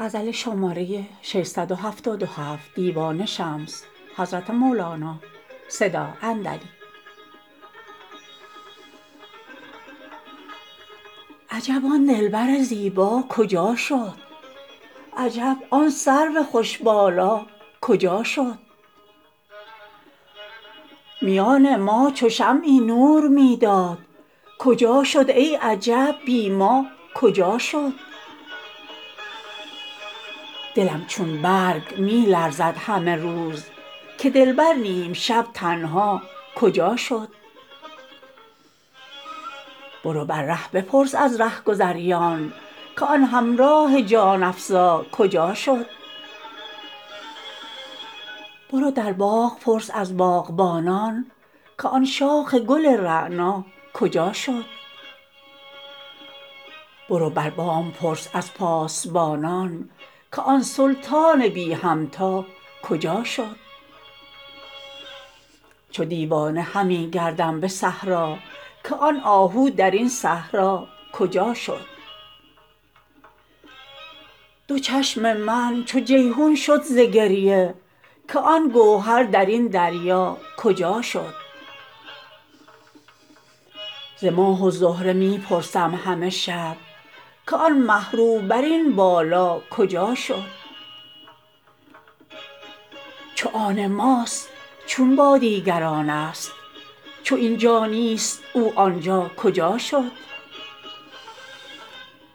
عجب آن دلبر زیبا کجا شد عجب آن سرو خوش بالا کجا شد میان ما چو شمعی نور می داد کجا شد ای عجب بی ما کجا شد دلم چون برگ می لرزد همه روز که دلبر نیم شب تنها کجا شد برو بر ره بپرس از رهگذاران که آن همراه جان افزا کجا شد برو در باغ پرس از باغبانان که آن شاخ گل رعنا کجا شد برو بر بام پرس از پاسبانان که آن سلطان بی همتا کجا شد چو دیوانه همی گردم به صحرا که آن آهو در این صحرا کجا شد دو چشم من چو جیحون شد ز گریه که آن گوهر در این دریا کجا شد ز ماه و زهره می پرسم همه شب که آن مه رو بر این بالا کجا شد چو آن ماست چون با دیگرانست چو این جا نیست او آن جا کجا شد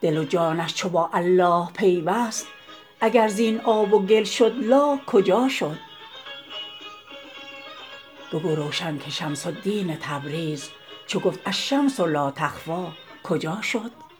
دل و جانش چو با الله پیوست اگر زین آب و گل شد لاکجا شد بگو روشن که شمس الدین تبریز چو گفت الشمس لا یخفی کجا شد